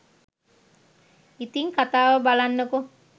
ඉතිං කතාව බලන්නකෝ.